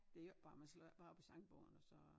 Det jo ikke bare man slår jo ikke bare op i sangbogen og så